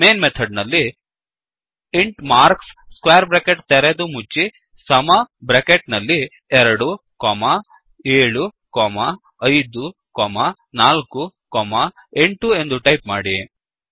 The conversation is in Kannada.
ಮೇಯ್ನ್ ಮೆಥಡ್ ನಲ್ಲಿ ಇಂಟ್ ಮಾರ್ಕ್ಸ್ ಸ್ಕ್ವೇರ್ ಬ್ರ್ಯಾಕೆಟ್ ತೆರೆದು ಮುಚ್ಚಿ ಸಮ ಬ್ರ್ಯಾಕೆಟ್ ನಲ್ಲಿ 2 7 5 4 8 ಎಂದು ಟೈಪ್ ಮಾಡಿ